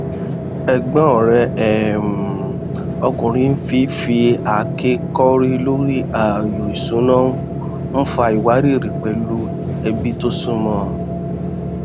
ẹgbọn rẹ um ọkùnrin fi fi àáké kọrí lórí ààyò ìṣúná n fa ìwárìrì pẹlú ẹbí tó súnmọ